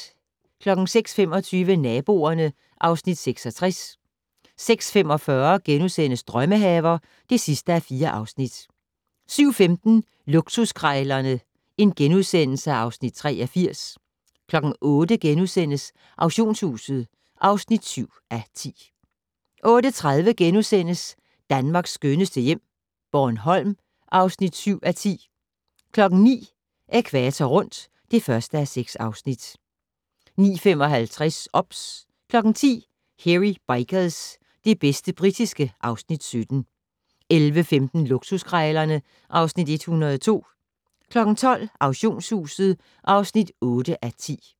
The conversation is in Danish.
06:25: Naboerne (Afs. 66) 06:45: Drømmehaver (4:4)* 07:15: Luksuskrejlerne (Afs. 83)* 08:00: Auktionshuset (7:10)* 08:30: Danmarks skønneste hjem - Bornholm (7:10)* 09:00: Ækvator rundt (1:6) 09:55: OBS 10:00: Hairy Bikers - det bedste britiske (Afs. 17) 11:15: Luksuskrejlerne (Afs. 102) 12:00: Auktionshuset (8:10)